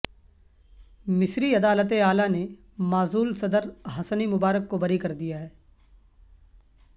مصری عدالت اعلی نے معزول صدر حسنی مبارک کو بری کر دیا ہے